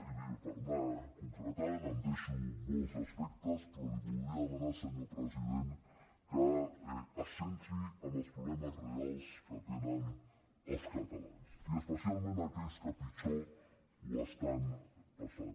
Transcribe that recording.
i per anar concretant em deixo molts aspectes però li voldria demanar senyor president que es centri en els problemes reals que tenen els catalans i especialment en els d’aquells que pitjor ho estan passant